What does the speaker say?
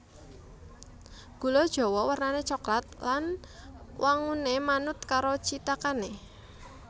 Gula jawa wernané coklat lan wanguné manut karo cithakané